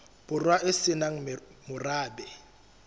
borwa e se nang morabe